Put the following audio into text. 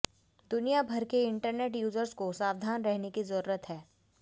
दुनियाभर के internet users को सावधान रहने की जरूरत है